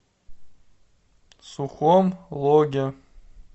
сухом логе